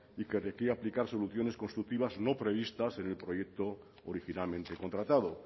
y que requiere aplicar soluciones constructivas no previstas en el proyecto originalmente contratado